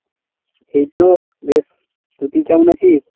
এই তো বেশ। তো তুই কেমন আছিস?